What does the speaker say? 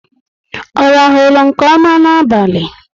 Ọ rahulu nke ọma n'abalị?